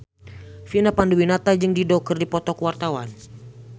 Vina Panduwinata jeung Dido keur dipoto ku wartawan